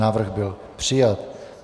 Návrh byl přijat.